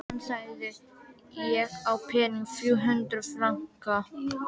Hann sagði: Ég á peninga. þrjú hundruð franka